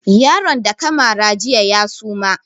Yaron da ka mara jiya ya suma